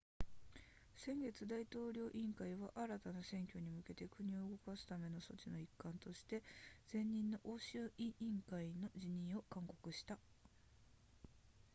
先月大統領委員会は新たな選挙に向けて国を動かすための措置の一環として前任の欧州委員会の辞任を勧告した